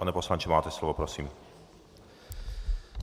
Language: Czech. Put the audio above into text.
Pane poslanče, máte slovo, prosím.